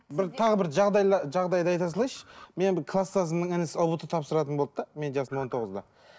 бір тағы бір жағдайды айта салайыншы менің бір класстасымның інісі ұбт тапсыратын болды да менің жасым он тоғызда